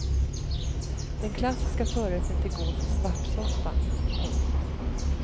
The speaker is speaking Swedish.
Den klassiska förrätten till gås är svartsoppa. punkt